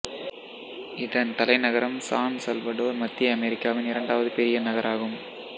இதன் தலைநகரம் San Salvador மத்திய அமெரிக்காவின் இரண்டாவது பெரிய நகராகும்